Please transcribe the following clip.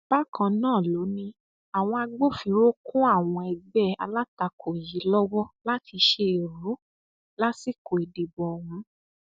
bákan náà ló ní àwọn agbófinró kún àwọn ẹgbẹ alátakò yìí lọwọ láti ṣe èrú lásìkò ìdìbò ọhún